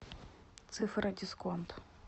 цифрадисконт